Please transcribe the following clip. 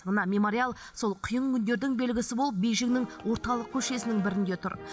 мына мемориал сол қиын күндердің белгісі болып бейжіңнің орталық көшесінің бірінде тұр